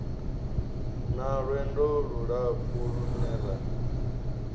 na lwendo lulapfu lune ra